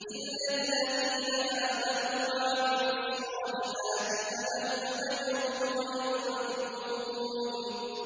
إِلَّا الَّذِينَ آمَنُوا وَعَمِلُوا الصَّالِحَاتِ فَلَهُمْ أَجْرٌ غَيْرُ مَمْنُونٍ